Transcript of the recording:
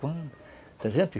Quando?